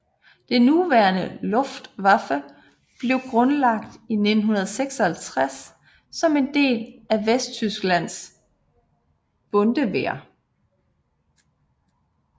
Det nuværende Luftwaffe blev grundlagt i 1956 som en del af Vesttysklands Bundeswehr